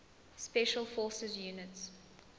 special forces units